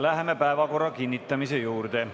Läheme päevakorra kinnitamise juurde.